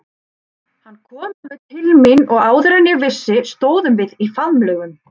Hann kom alveg til mín og áður en ég vissi stóðum við í faðmlögum.